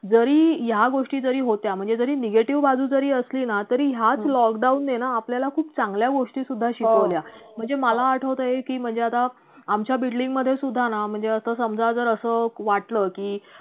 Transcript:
जरी या गोष्टी जरी होत्या म्हणजे जरी negative बाजु जरी असली ना तरी याच lockdown ने ना आपल्याला खूप चांगल्या गोष्टी सुद्धा शिकवल्या म्हणजे मला आठवतंय की म्हणजे आता आमच्या building मधे सुद्धा ना म्हणजे असा समजा जर असं वाटलं की